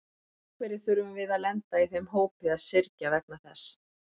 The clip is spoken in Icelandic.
En af hverju þurfum við að lenda í þeim hópi að syrgja vegna þess?